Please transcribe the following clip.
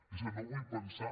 és que no vull pensar